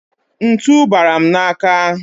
Ntu bara m n'aka.